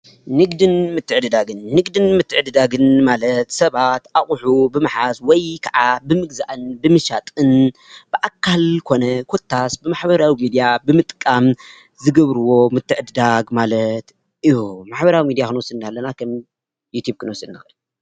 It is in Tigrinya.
ንግድን ምትዕድዳግን፡-ንግድን ምትዕድዳግን ማለት ሰባት ኣቑሑ ብምሓዝ ወይ ከዓ ብምግዛእን ብምሻጥን ብኣካል ኮነ ኮታስ ብማሕበራዊ ምድያ ብምጥቃም ዝገብርዎ ምትዕድዳግ ማለት እዩ፡፡ ማሕበራዊ ሚድያ ክንወስድ ከለና ከም ዩቲብ ክንወስድ ንኽእል።